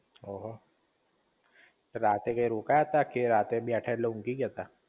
ઓહો રાતે ક્યાંય રોકાયા તા? કે રાતે બેઠા એટલે ઊંઘી ગયા તા?